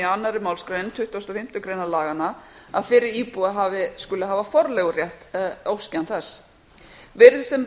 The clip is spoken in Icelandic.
annarri málsgrein tuttugustu og fimmtu greinar laganna að fyrri íbúi skulu hafa forleigurétt óski hann þess virðist sem